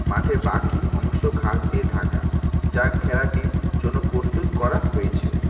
মাঠে বাকি অংশ ঘাস দিয়ে ঢাকা যা খেলাটির জন্য প্রস্তুত করা হয়েছে।